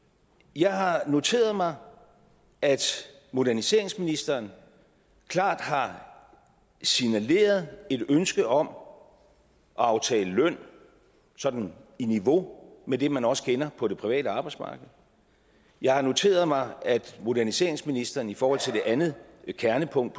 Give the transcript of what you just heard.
jeg har noteret mig at moderniseringsministeren klart har signaleret et ønske om at aftale løn sådan i niveau med det man også kender på det private arbejdsmarked jeg har noteret mig at moderniseringsministeren i forhold til det andet kernepunkt